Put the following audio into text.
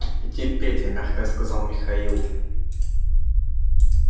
идите петя мягко сказал михаил